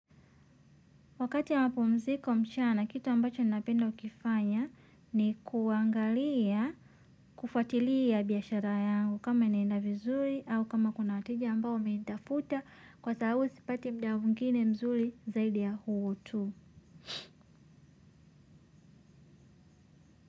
Wakati ya mapumziko mchana, kitu ambacho napenda kukifanya ni kuangalia, kufuatilia biashara yangu kama inaenda vizuri au kama kuna wateja ambao wamenitafuta kwa sababu sipati muda mwingine mzuri zaidi ya huu tu.